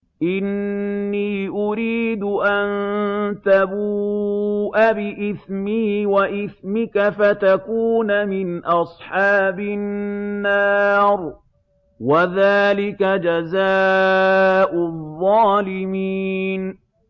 إِنِّي أُرِيدُ أَن تَبُوءَ بِإِثْمِي وَإِثْمِكَ فَتَكُونَ مِنْ أَصْحَابِ النَّارِ ۚ وَذَٰلِكَ جَزَاءُ الظَّالِمِينَ